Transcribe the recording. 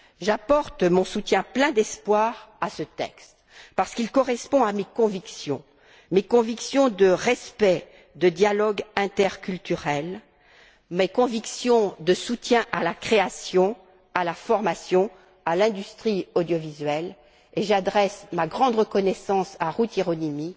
J'apporte mon soutien plein d'espoir à ce texte parce qu'il correspond à mes convictions, mes convictions de respect, de dialogue interculturel, mes convictions de soutien à la création, à la formation, à l'industrie audiovisuelle, et j'adresse ma grande reconnaissance à Ruth Hieronymi.